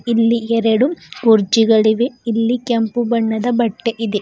ಇಲ್ಲಿ ಎರಡು ಕುರ್ಜಿಗಳಿವೆ ಇಲ್ಲಿ ಕೆಂಪು ಬಣ್ಣದ ಬಟ್ಟೆ ಇದೆ.